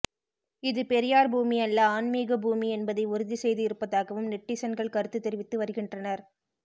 இது பெரியார் பூமி அல்ல ஆன்மீக பூமி என்பதை உறுதி செய்து இருப்பதாகவும் நெட்டிசன்கள் கருத்து தெரிவித்து வருகின்றனர்